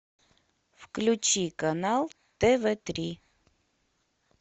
включи канал тв три